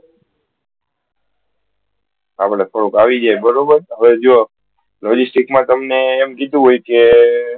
આપળે થોડુક આવી જયીયે બરોબર હવે જો logistics મા તમને એમ કીધુ હોય કે